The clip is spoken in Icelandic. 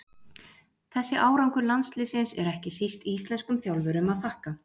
Þessi árangur landsliðsins er ekki síst íslenskum þjálfurum að þakka.